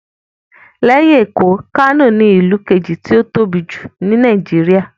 Lẹ́yìn Èkó, Kano ní ìlú kejì tí ó tóbi jù ní Nàìjíríyà